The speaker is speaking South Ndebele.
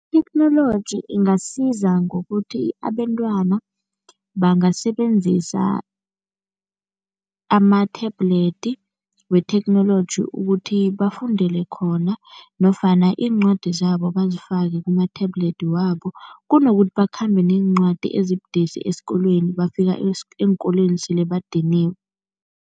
Itheknoloji ingasiza ngokuthi abentwana bangasebenzisa ama-tablet wetheknoloji ukuthi bafundele khona nofana iincwadi zabo bazifake kuma-tablet wabo, kunokuthi bakhambe neencwadi ezibudisi esikolweni, bafika eenkolweni sele badiniwe.